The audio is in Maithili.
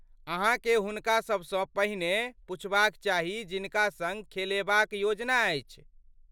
अहाँकेँ हुनका सभसँ पहिने पुछबाक चाही जिनका सँग खेलेबाक योजना अछि।